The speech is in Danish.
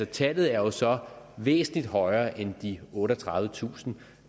tallet er jo så væsentlig højere end de otteogtredivetusind